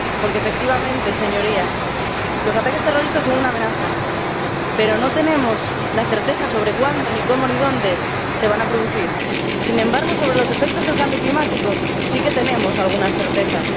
Porque, efectivamente, señorías, los ataques terroristas son una amenaza, pero no tenemos la certeza sobre cuándo ni cómo ni dónde se van a producir. Sin embargo, sobre los efectos del cambio climático sí que tenemos algunas certezas.